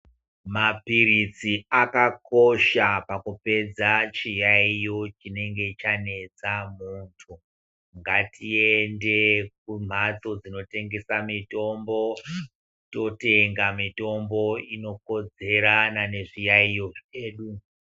Maphiritsi akakosha pakupedza chiyaiyo chinenge chanetsa muntu, ngatiende kumhatso dzinotengesa mitombo, totenga mitombo inokodzerana nezviyaiyo zvedu.